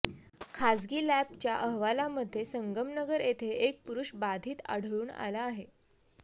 खाजगी लॅबच्या अहवालामध्ये संगमनगर येथे एक पुरुष बाधित आढळून आला आहे